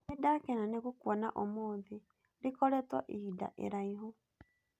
Nĩ ndakena nĩ gũkuona ũmũthĩ, rĩkoretwo ihinda iraihu.